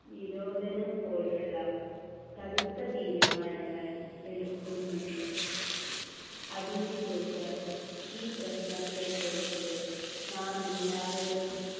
നിരോധനം പോലുള്ള കടുത്ത തീരുമാനങ്ങൾ എടുക്കുന്നുണ്ട് അതിനു ശേഷം ഈ പ്രശ്നത്തെക്കുറിച്ച് നാമെല്ലാവരും